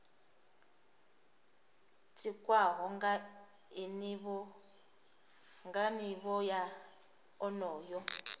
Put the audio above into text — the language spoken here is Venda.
tikwaho nga nivho ya onoyo